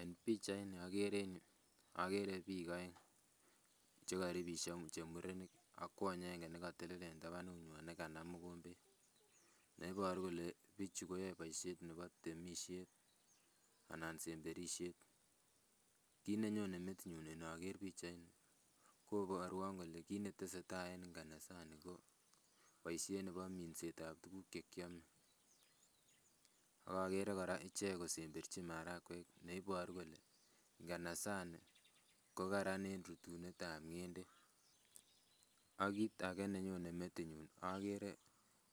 En pichait ni okere en yuu okere biik oeng chekoribisio che murenik ak kwony aenge nekotelel en tabanut nyan nekanam mogombet neiboru kole bichu koyoe boisiet nebo temisiet anan semberisiet. Kit nenyone metinyun inoker pichait ni koborwon kole kit netesetai en nganasani ko boisiet nebo minset ab tuguk chekiome ak okere kora ichek kosemberchin marakwek neiboru kole nganasani ko karan en rutunet ab ng'endek ak kit age nenyone metinyun okere